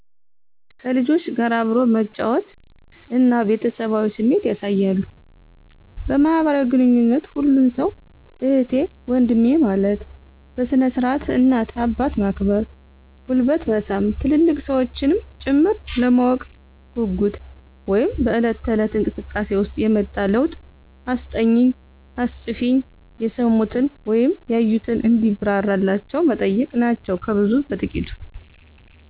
ከልጆች ጋር አብሮ መጫወት እና ቤተሰባዊ ስሜት ያሣያሉ። በማህበራዊ ግንኙነት ሁሉን ሠው እህቴ ወንድሜ ማለት፤ በስነ-ስርዓት እናት አባት ማክበር ጉልበት መሣም ትልልቅ ሠዎችንም ጭምር፤ ለማወቅ ጉጉት (በለት ተለት)እንቅስቃሴ ውሰጥ የመጣ ለውጥ አስጠኝኝ፣ አስፅፊኝ፣ የሠሙትን ወይም ያዩትን እንዲብራራላቸው መጠየቅ ናቸው ከብዙ በጥቂት።